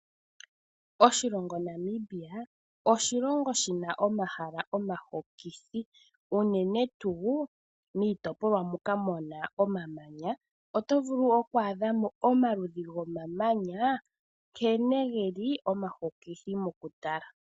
Oshilongo Namibia, oshilongo shi na omahala omahokithi unene tu miitopolwa moka muna omamanya. Oto vulu wo oku adha mo omaludhi gomamanya nkene geli omahokithi mokutala.